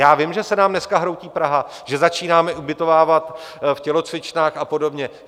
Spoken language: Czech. Já vím, že se nám dneska hroutí Praha, že začínáme ubytovávat v tělocvičnách a podobně.